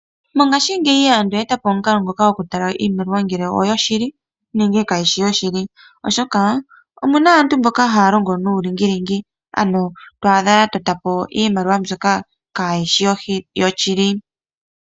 Mongaashingeyi aantu oye etapo omukalo ngoka goku tala iimaliwa ngele oyoshili nenge kayishi yoshili oshoka omuna aantu mboka haya longo nuulingilingi ano to adha ya totapo iimaliwa mbyoka kayishi yoshili.